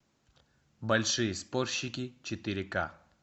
большие спорщики четыре ка